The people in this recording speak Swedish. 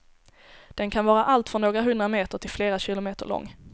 Den kan vara allt från några hundra meter till flera kilometer lång.